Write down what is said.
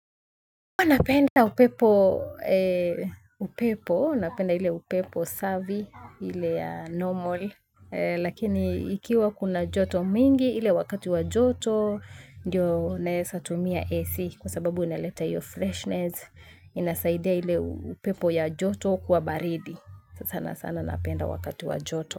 Kwa napenda upepo, upepo, napenda hile upepo savvy hile ya normal, lakini ikiwa kuna joto mingi ile wakati wa joto, ndio naezatumia AC kwa sababu inaleta hiyo freshness, inasaidia ile upepo ya joto kuwa baridi, sana sana napenda wakati wa joto.